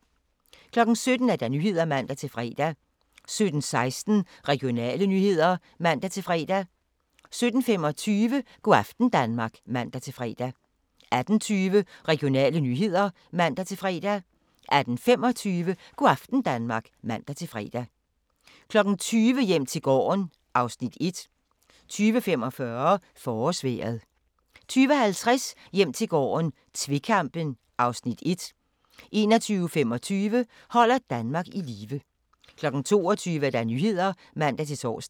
17:00: Nyhederne (man-fre) 17:16: Regionale nyheder (man-fre) 17:25: Go' aften Danmark (man-fre) 18:20: Regionale nyheder (man-fre) 18:25: Go' aften Danmark (man-fre) 20:00: Hjem til gården (Afs. 1) 20:45: Forårsvejret 20:50: Hjem til gården - tvekampen (Afs. 1) 21:25: Holder Danmark i live 22:00: Nyhederne (man-tor)